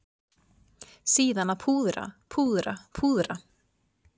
Síðan að púðra, púðra, púðra.